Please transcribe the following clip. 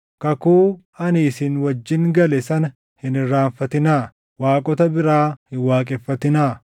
Kakuu ani isin wajjin gale sana hin irraanfatinaa; waaqota biraa hin waaqeffatinaa.